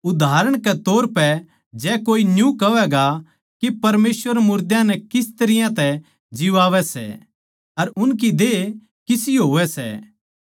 उदाहरण के तौर पै जै कोए न्यू कहवैगा के परमेसवर मुर्दां नै किस तरियां तै जिवांवै सै अर उनकी देह किसी होवै सै